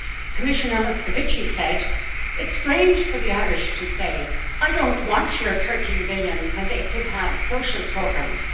Commissioner Moscovici said, it is strange for the Irish to say I do not want your EUR 13 billion when they could have social programmes'.